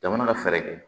Jamana ka fɛɛrɛ kɛ